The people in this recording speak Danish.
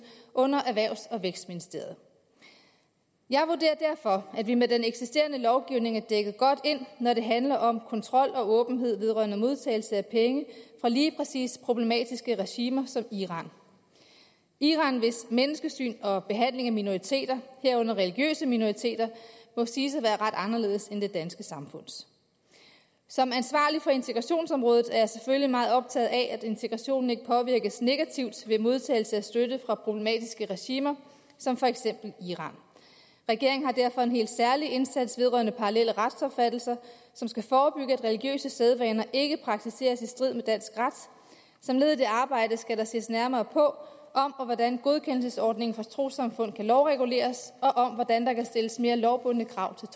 under erhvervs og vækstministeriet jeg vurderer derfor at vi med den eksisterende lovgivning er dækket godt ind når det handler om kontrol og åbenhed vedrørende modtagelse af penge fra lige præcis problematiske regimer som iran iran hvis menneskesyn og behandling af minoriteter herunder religiøse minoriteter må siges at være ret anderledes end det danske samfunds som ansvarlig for integrationsområdet er jeg selvfølgelig meget optaget af at integrationen ikke påvirkes negativt ved modtagelse af støtte fra problematiske regimer som for eksempel iran regeringen har derfor en helt særlig indsats vedrørende parallelle retsopfattelser som skal forebygge at religiøse sædvaner ikke praktiseres i strid med dansk ret som led i det arbejde skal der ses nærmere på om og hvordan godkendelsesordningen for trossamfund kan lovreguleres og om hvordan der kan stilles mere lovbundne